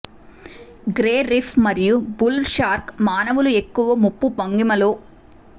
grey reef మరియు bull shark మానవులు ఎక్కువ ముప్పు భంగిమలో